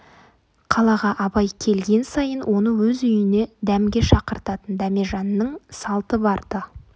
қалаға абай келген сайын оны өз үйіне дәмге шақыртатын дәмежанның салты бар-ды